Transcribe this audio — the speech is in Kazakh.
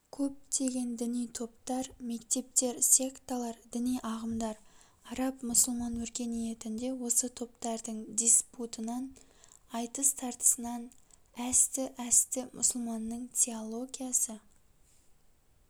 көптеген діни топтар мектептер секталар діни ағымдар араб-мұсылман өркениетінде осы топтардың диспутынан айтыс-тартысынан әсті-әсті мұсылманның теологиясы